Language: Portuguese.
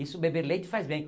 Isso, beber leite, faz bem.